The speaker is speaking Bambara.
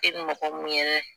E ma kɛ mun ye